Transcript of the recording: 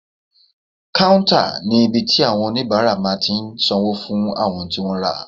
Káúntà ní ibi tí àwọn oníbàárà máa tí n sanwó fún àwọn ohun tí wọ́n rà